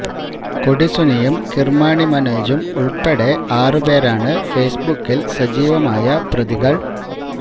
കൊടി സുനിയും കിര്മാണി മനോജും ഉള്പ്പെടെ ആറ് പേരാണ് ഫേസ്ബുക്കില് സജീവമായ പ്രതികള്